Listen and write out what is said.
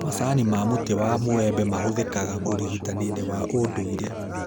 Macani ma mũtĩ wa mũĩ embe mahũthĩ kaga ũrigitani-inĩ wa ũndũire